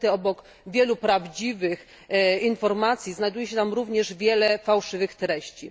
Niestety obok wielu prawdziwych informacji znajduje się tam również wiele fałszywych treści.